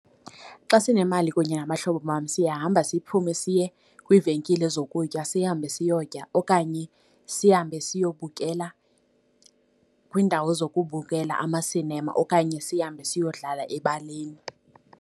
Xa sinemali kunye nabahlobo bam siyahamba siphume siye kwiivenkile zokutya sihambe siyokutya okanye sihambe siyobukela kwiindawo zokubukela amasinema okanye sihambe siyodlala ebaleni.